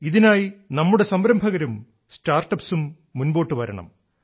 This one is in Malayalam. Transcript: ഇതിനായി നമ്മുടെ സംരംഭകരും സ്റ്റാർട്ടപ്സും മുൻപോട്ടു വരണം